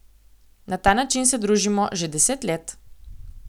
Na ta način se družimo že deset let.